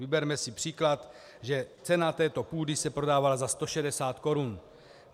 Vyberme si příklad, že cena této půdy se prodává za 160 korun.